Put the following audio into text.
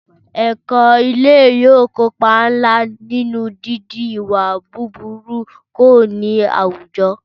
Ẹ̀kọ́ ilé yóò kópa ńlá nínú dídín ìwà búburú kù ní àwùjọ